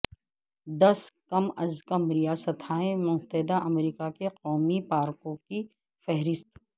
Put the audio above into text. دس کم از کم ریاستہائے متحدہ امریکہ کے قومی پارکوں کی فہرست